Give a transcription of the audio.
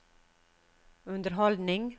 underholdning